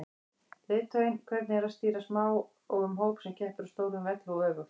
Leiðtoginn, hvernig er að stýra smáum hóp sem keppir á stórum velli og öfugt?